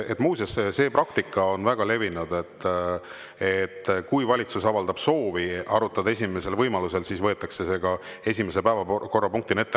Muuseas, see praktika on väga levinud, et kui valitsus avaldab soovi arutada esimesel võimalusel, siis võetakse see esimese päevakorrapunktina ette.